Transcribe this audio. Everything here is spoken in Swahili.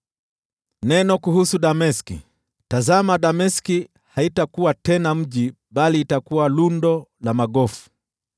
Neno kuhusu Dameski: “Tazama, Dameski haitakuwa tena mji bali itakuwa lundo la magofu.